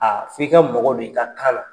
Aa f'i ka mɔgɔ don i ka kan na.